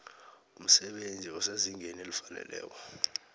umsebenzi osezingeni elifaneleko